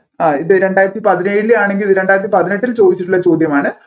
ആഹ് ഇത് രണ്ടായിരത്തി പതിനേഴിലെ ആണെങ്കിൽ ഇത് രണ്ടായിരത്തി പതിനെട്ടിൽ ചോദിച്ചിട്ടുള്ള ചോദ്യമാണ്